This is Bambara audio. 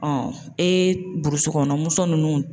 e kɔnɔ muso ninnu.